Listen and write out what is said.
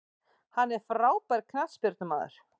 Hann er frábær knattspyrnumaður.